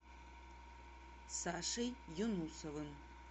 сашей юнусовым